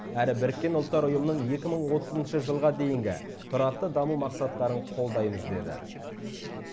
әрі біріккен ұлттар ұйымының екі мың отызыншы жылға дейінгі тұрақты даму мақсаттарын қолдаймыз деді